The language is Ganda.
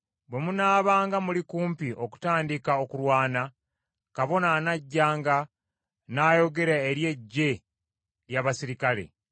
Bwe munaabanga muli kumpi okutandika okulwana, kabona anajjanga n’ayogera eri eggye ly’abaserikale,